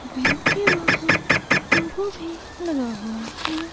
Bank के बाहर logo भी लगा हुआ है।